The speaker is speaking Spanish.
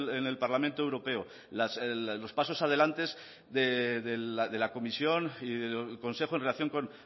en el parlamento europeo los pasos adelante de la comisión y del consejo en relación con